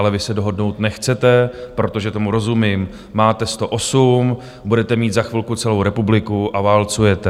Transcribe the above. Ale vy se dohodnout nechcete, protože tomu rozumím, máte 108, budete mít za chvilku celou republiku a válcujete.